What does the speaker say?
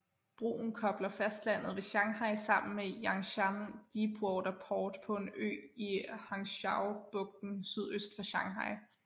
Broen kobler fastlandet ved Shanghai sammen med Yangshan Deepwater Port på en ø i Hangzhoubugten sydøst for Shanghai